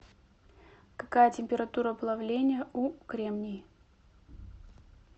какая температура плавления у кремний